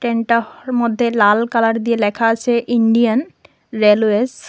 ট্রেনটার মধ্যে লাল কালার দিয়ে লেখা আছে ইন্ডিয়ান রেলওয়েস ।